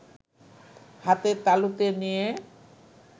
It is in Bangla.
হাতের তালুতে নিয়ে